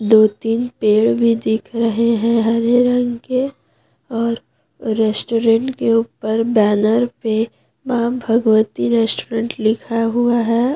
दो तीन पेड़ भी दिख रहे है हरे रंग के और रेस्टोरेंट के ऊपर बैनर पे मां भगवती रेस्टोरेंट लिखा हुआ है।